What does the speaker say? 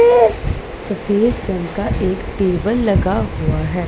सफेद रंग का एक टेबल लगा हुआ हैं।